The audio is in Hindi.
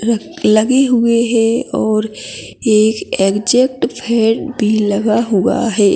लिफ्ट लगे हुए है और एक एग्जैक्ट फैन भी लगा हुआ है।